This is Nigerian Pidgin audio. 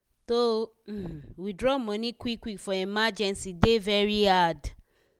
to um withdraw money quick quick for emergency dey very hard.